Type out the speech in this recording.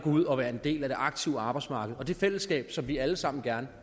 ud og være en del af det aktive arbejdsmarked og det fællesskab som vi alle sammen gerne